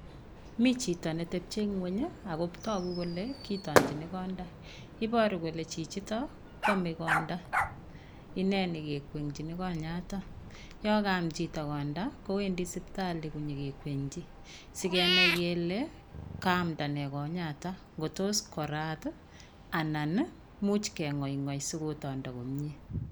Mi chito netepchie ngueny ako toku kole kotonchin konda iboruu kole chichiton kwome konda inee nekikwenkin konyaton yon kaam chito konda kowendi sipitali konyokikwenji asikenai kele kaamda nee konyaton kotos korat tii anan nii imuch kengoigoi sikotondo komie.